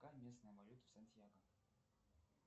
какая местная валюта в сантьяго